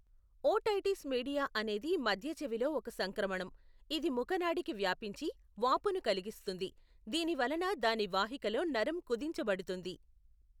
Otitis media అనేది మధ్య చెవిలో ఒక సంక్రమణం, ఇది ముఖ నాడికి వ్యాపించి, వాపును కలిగిస్తుంది, దీని వలన దాని వాహికలో నరం కుదించబడుతుంది.